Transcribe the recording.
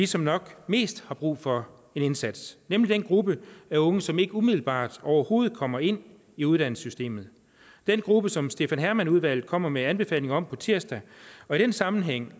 som nok mest har brug for en indsats nemlig den gruppe af unge som ikke umiddelbart overhovedet kommer ind i uddannelsessystemet den gruppe som stefan hermann udvalget kommer med anbefalinger om på tirsdag i den sammenhæng